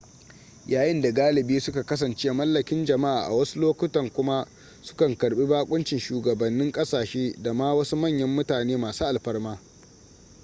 yayin da galibi suka kasance mallakin jama'a a wasu lokutan kuma su kan karbi bakoncin shugabannin kasashe da ma wasu manyan mutane masu alfarma